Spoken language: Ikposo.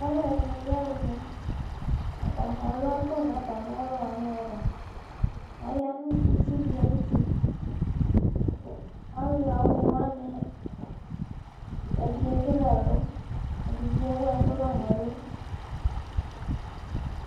Alʋɛdɩnɩ yaɣa une, atanɩ alʋ akpo nʋ atamɩ ɛlʋ wanɩ ava Aya nʋ itsu dɩ ayuti Alʋɣa une wanɩ, ɛdɩ ekele ɛlʋ, ɛdɩ bɩ ewu ɛkʋ la nʋ ɛlʋ